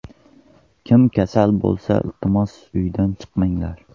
Kim kasal bo‘lmasa, iltimos uydan chiqmanglar.